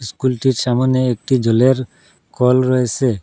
স্কুলটির সামোনে একটি জলের কল রয়েসে ।